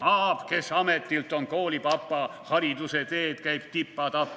/ Aab, kes ametilt on koolipapa, / hariduse teed käib tipa-tapa.